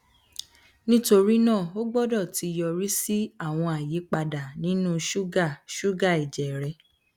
nitori naa o gbọdọ ti yọri si awọn ayipada ninu ṣuga ṣuga ẹjẹ rẹ